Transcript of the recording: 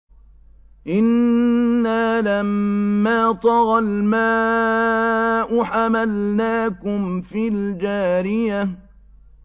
إِنَّا لَمَّا طَغَى الْمَاءُ حَمَلْنَاكُمْ فِي الْجَارِيَةِ